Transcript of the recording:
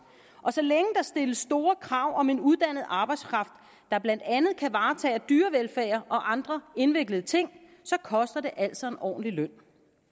og så længe der stilles store krav om en uddannet arbejdskraft der blandt andet kan varetage dyrevelfærd og andre indviklede ting så koster det altså en ordentlig løn